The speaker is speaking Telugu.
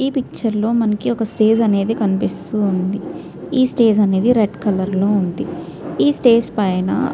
ఈ పిక్చర్ లో మనకి స్టేజి అనేది కనిపిస్తుంది ఈ స్టేజి అనేది రెడ్ కలర్ లో ఉంది. ఈ స్టేజి పైన్ --